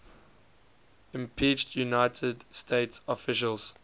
impeached united states officials